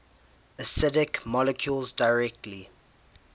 acidic molecules directly